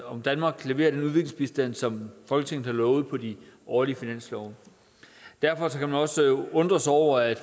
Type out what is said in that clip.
om danmark leverer den udviklingsbistand som folketinget har lovet på de årlige finanslove og derfor kan man også undre sig over at